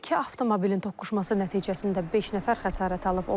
İki avtomobilin toqquşması nəticəsində beş nəfər xəsarət alıb.